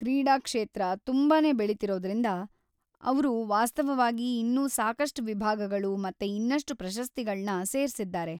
ಕ್ರೀಡಾಕ್ಷೇತ್ರ ತುಂಬಾನೇ ಬೆಳಿತಿರೋದ್ರಿಂದ ಅವ್ರು ವಾಸ್ತವವಾಗಿ ಇನ್ನೂ ಸಾಕಷ್ಟ್ ವಿಭಾಗಗಳು ಮತ್ತೆ ಇನ್ನಷ್ಟು ಪ್ರಶಸ್ತಿಗಳ್ನ ಸೇರ್ಸಿದ್ದಾರೆ.